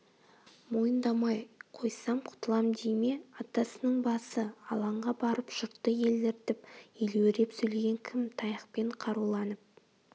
мойындамай қойсам құтылам дей ме атасының басы алаңға барып жұртты еліртіп елеуреп сөйлеген кім таяқпен қаруланып